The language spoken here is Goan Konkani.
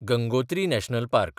Gangotri national park